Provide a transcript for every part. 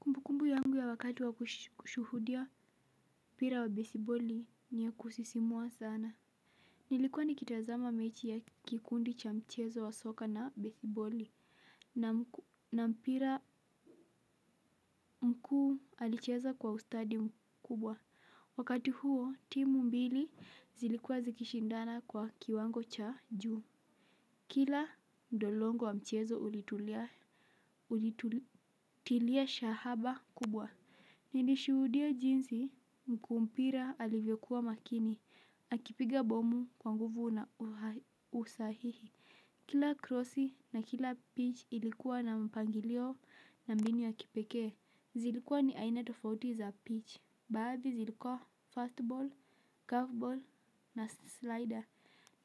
Kumbu kumbu yangu ya wakati wa kushuhudia mpira wa besiboli niya kusisimua sana. Nilikuwa nikitazama mechi ya kikundi cha mchezo wa soka na besiboli na mpira mkuu alicheza kwa ustadi mkubwa. Wakati huo, timu mbili zilikua zikishindana kwa kiwango cha juu. Kila ndolongo wa mchezo ulitulia shahaba kubwa. Nilishudia jinsi mkuu mpira alivyokuwa makini, akipiga bomu kwa nguvu na usahihi. Kila crossi na kila pitch ilikuwa na mpangilio na mbinu ya kipeke. Zilikuwa ni aina tofauti za pitch, badhi zilikuwa fastball, curveball na slider.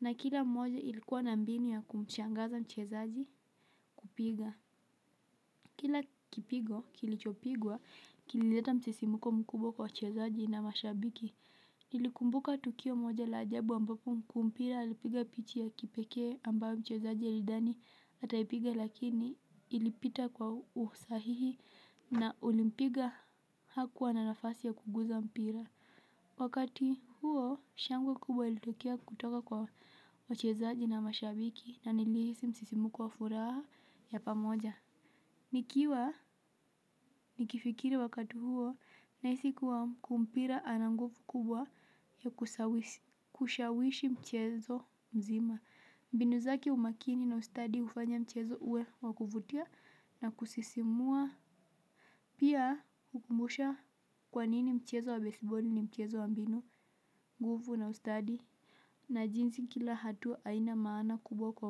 Na kila moja ilikuwa na mbinu ya kumchangaza mchezaji kupiga kila kipigo kilichopigwa kilileta msisimuko mkubwa kwa wachezaji na mashabiki. Nilikumbuka tukio moja la ajabu ambapo mkuumpira alipiga pichi ya kipeke ambayo mchezaji alidani ataayipiga lakini ilipita kwa usahihi na ulimpiga hakuwa na nafasi ya kuguza mpira. Wakati huo shangwe kubwa ilitokea kutoka kwa wachezaji na mashabiki na nilihisi msisimuko wa furaha ya pamoja. Nikiwa ni kifikiri wakati huo nahisi kuwa mkuumpira ananguvu kubwa ya kushawishi mchezo mzima. Mbinu zake umakini na ustadi hufanya mchezo uwe wakuvutia na kusisimua. Pia hukumbusha kwanini mchezo wa baseball ni mchezo wa mbinu nguvu na ustadi na jinzi kila hatua ina maana kubwa kwa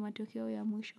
matokeo ya mwisho.